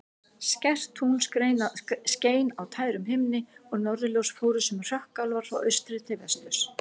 Skært tungl skein á tærum himni og norðurljós fóru sem hrökkálar frá austri til vesturs.